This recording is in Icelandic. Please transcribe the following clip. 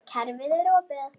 Kerfið er opið.